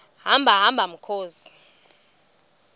hamba hamba mkhozi